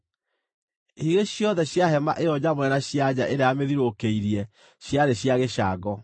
Higĩ ciothe cia hema ĩyo nyamũre na cia nja ĩrĩa yamĩthiũrũrũkĩirie ciarĩ cia gĩcango.